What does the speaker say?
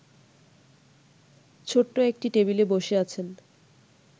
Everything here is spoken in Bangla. ছোট্ট একটি টেবিলে বসে আছেন